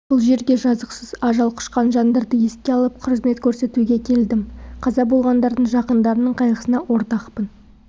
бұл жерге жазықсыз ажал құшқан жандарды еске алып құрмет көрсетуге келдім қаза болғандардың жақындарының қайғысына ортақпын